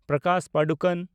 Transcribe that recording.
Prakash Padukone